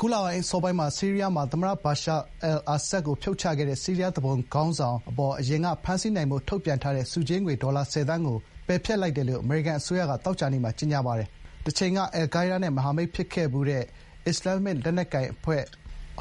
ခုလ အစောပိုင်းက ဆီးရီးယားမှာ သမ္မတ ဘာရှား အယ်လ် အာဆတ်ကို ဖြုတ်ချခဲ့တဲ့ ဆီးရီးယားသူပုန်ခေါင်းဆောင်အပေါ် အရင်က ဖမ်းဆီးနိုင်ဖို့ ထုတ်ပြန်ထားတဲ့ ဆုကြေးငွေ ဒေါ်လာ ၁၀ သန်း ကို ပယ်ဖျက်လိုက်တယ်လို့ အမေရိကန် အစိုးရက သောကြာနေ့မှာ ကြေညာပါတယ်။ တချိန်က အယ်လ်ကိုင်းဒါးနဲ့ မဟာမိတ်ဖြစ်ခဲ့ဖူးတဲ့ အစ္စလာမ်မစ် လက်နက်ကိုင်အဖွဲ့